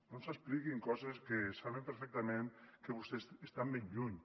no ens expliquin coses de les quals saben perfectament que vostès estan ben lluny